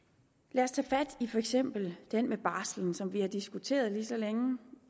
lad os tage fat i for eksempel den med barslen som vi har diskuteret lige så længe